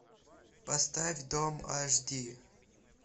поставь дом аш ди